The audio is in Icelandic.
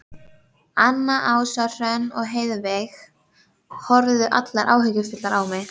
Anna, Ása, Hrönn og Heiðveig horfðu allar áhyggjufullar á mig.